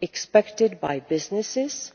expected by businesses